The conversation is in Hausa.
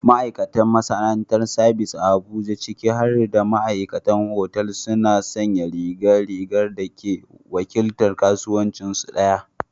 Ma'aikatan masana'antar sabis a Abuja, ciki har da ma'aikatan otal, suna sanya rigar rigar da ke wakiltar kasuwancinsu ɗaya.